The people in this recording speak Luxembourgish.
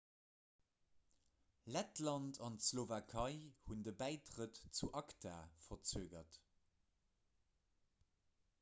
lettland an d'slowakei hunn de bäitrëtt zu acta verzögert